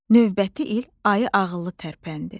Növbəti il ayı ağıllı tərpəndi.